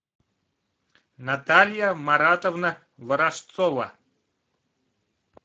наталья маратовна ворожцова